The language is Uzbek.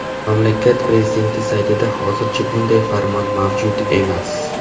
Mamlakat prezidenti saytida hozircha bunday farmon mavjud emas.